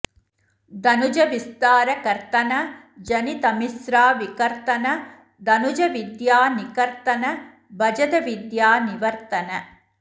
दनुज विस्तार कर्तन जनि तमिस्रा विकर्तन दनुज विद्या निकर्तन भजदविद्या निवर्तन